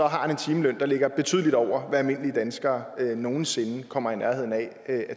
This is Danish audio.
har han en timeløn der ligger betydeligt over hvad almindelige danskere nogen sinde kommer i nærheden af at